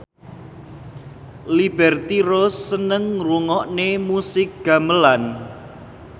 Liberty Ross seneng ngrungokne musik gamelan